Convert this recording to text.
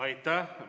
Aitäh!